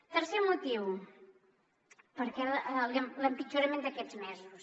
tercer motiu l’empitjorament d’aquests mesos